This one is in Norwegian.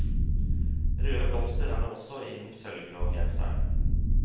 Røde blomster er det også i den sølvgrå genseren.